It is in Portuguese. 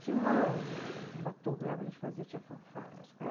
Tinha uma, uns, um batuque lá que a gente fazia, tinha fanfarra na escola.